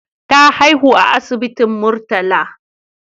Ta haihu a asibitin Murtala.